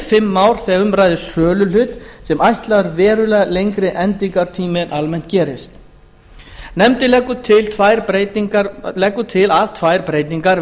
fimm ár þegar um ræðir söluhlut sem er ætlaður verulega lengri endingartími en almennt gerist nefndin leggur til að tvær breytingar